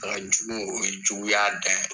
Ka jugu mɛ o ye juguya dan ye.